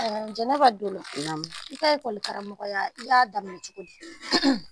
Jɛnɛba dolo i ka lakƆlikaramɔgɔya i y'a daminɛ cogo di?